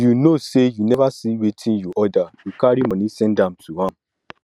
you know say you never see wetin you order you carry money send to am